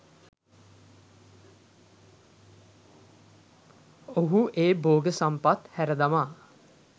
ඔහු ඒ භෝග සම්පත් හැර දමා